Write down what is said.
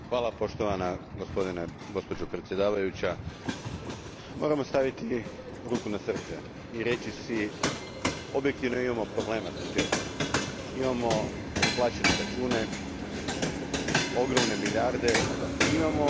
Gospođo predsjednice, moramo staviti ruku na srce i reći si da objektivno imamo problema s budžetom. Imamo neplaćene račune, ogromne milijarde, imamo i velike ambicije.